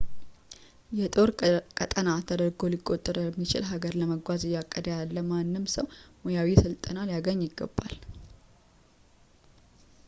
የጦር ቀጠና ተደርጎ ሊቆጠር ወደሚችል ሃገር ለመጓዝ እያቀደ ያለ ማንም ሰው ሙያዊ ስልጠና ሊያገኝ ይገባል